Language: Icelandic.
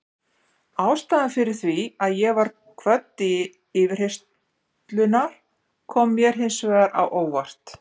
Ástæðan fyrir því að ég var kvödd til yfirheyrslunnar kom mér hins vegar á óvart.